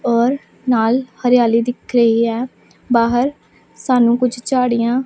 ਔਰ ਨਾਲ ਹਰਿਆਲੀ ਦਿੱਖ ਰਹੀ ਹੈ ਬਾਹਰ ਸਾਨੂੰ ਕੁੱਛ ਝਾੜੀਆਂ--